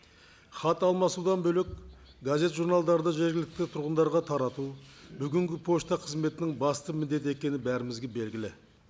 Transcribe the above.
хат алмасудан бөлек газет журналдарды жергілікті тұрғындарға тарату бүгінгі пошта қызметінің басты міндеті екені бәрімізге белгілі